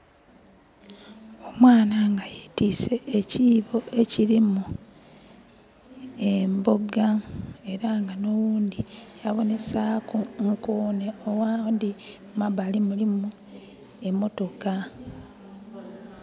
Omwana nga yetiise ekyiibo ekirimu emboga. Era nga n'oghundhi abonhesaaku nkoone. Aghandhi mu mambali mulimu emotoka.